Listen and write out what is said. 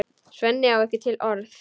Svenni á ekki til orð.